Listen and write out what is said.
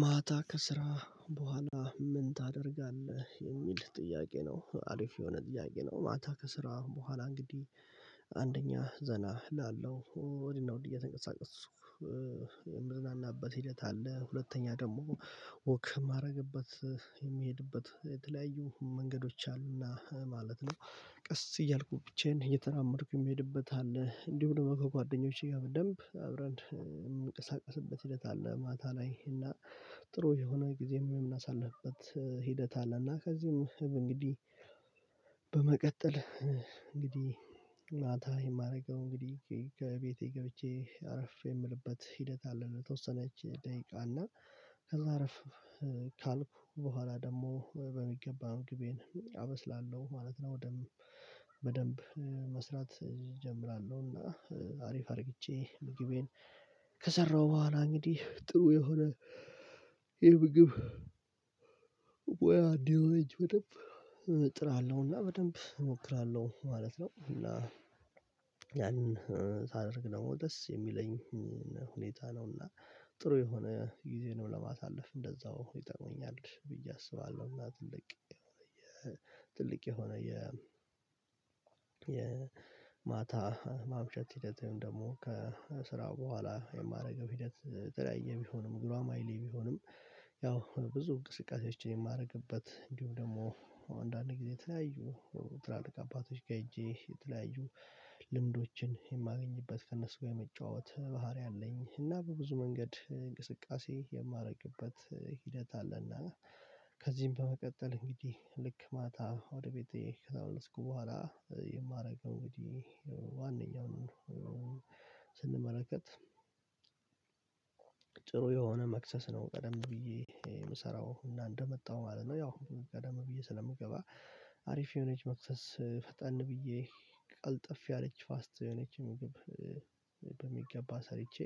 ማታ ከስራ በኋላ ምን ታደርጋለህ የሚል ጥያቄ ነው? አሪፍ የሆነ ጥያቄ ነው። ማታ ከስራ በኋላ እንግዲህ አንደኛ ዘና እላለው ወዲህና ውድ እየተንቀሳቀሱ ምዝናናበት ሂደት አለ። ሁለተኛ ደግሞ ወክ የማደርግበት የሚሄድበት የተለያዩ መንገዶች አሉና ማለት ነው። ቀስ እያልኩ ብቻዬን እየተራመድኩ የሚሄድበት አለ እንዲሁ ደግሞ ከጓደኞቼ ጋር በደንብ አብረን የምንቀሳቀስበት ሂደት አለ። ማታ ላይ እና ጥሩ የሆነ ጊዜ ወይም እናሳልፍበት ሂደት አለና። እና ከዚህም እንግዲህ በመቀጠል እንግዲህ ማታ የማደርገው እንግዲህ ከቤቴ ገብቼ አረፍ የምልበት ሂደት አለ። ለተወሰነች ደቂቃ እና ከዛ አረፍ ካልኩ በኋላ ደግሞ በሚገባ ምግቤን አበስላለሁ ማለት ነው። ደንብ በደንብ መስራት እጀምራለሁ። እና አሪፍ አድርግቼ ምግቤን ከሰራሁ በኋላ እንግዲህ ጥሩ የሆነ ምግብ ወይ አዲያ እጅ በጣም እጥራለሁና በደንብ እሞክራለሁ ማለት ነው። እና ያንን ሳደርግ ነው ደስ የሚለኝ ሁኔታ ነውና። ጥሩ የሆነ ጊዜንም ለማሳለፍ እንደዛው ሁኔታ ሆኛል ብዬ አስባለሁና። ትልቅ የሆነ የ ትልቅ የሆነ የ የማታ ማምሸት ሂደት ወይም ደግሞ ከስራው በኋላ የማደርገው ሂደት የተለያየ ቢሆንም ጉራማይሌ ቢሆንም። ያው አሁን ብዙ እንቅስቃሴዎችን የማደርግበት እንዲሁ ደግሞ አንዳንድ ጊዜ ተለያዩ ትላልቅ አባቶች ጋር ሄጄ የተለያዩ ልምዶችን የማገኝበት ከእነሱ ጋር የመጫወት ባህሪ አለኝ። እና በብዙ መንገድ እንቅስቃሴ የማደርግበት ሂደት አለና። ከዚህም በመቀጠል እንግዲህ ልክ ማታ ወደ ቤቴ ከላውለስኩ በኋላ የማደርግ እንግዲህ ዋናውን ስንመለከት ጥሩ የሆነ መክሰስ ነው። ቀደም ብዬ የምሰራው እና እንደመጣው ማለት ነው። ያው ቀደም ብዬ ስለምገባ አሪፍ የሆነች መክሰስ ፈጠን ብዬ ቀልጠፍ ያለች ፋስት የሆነች ምግብ በሚገባ ሰርቼ